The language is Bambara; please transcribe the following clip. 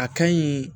A ka ɲi